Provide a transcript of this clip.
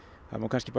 það má